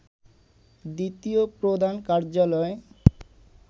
দ্বিতীয় প্রধান কার্যালয়